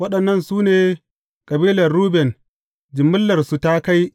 Waɗannan su ne kabilan Ruben; jimillarsu ta kai